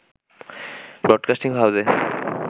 broadcasting হাউসে